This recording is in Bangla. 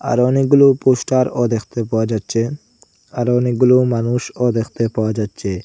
আরও অনেকগুলো পোস্টার -ও দেখতে পাওয়া যাচ্ছে আরও অনেকগুলো মানুষও দেখতে পাওয়া যাচ্ছে।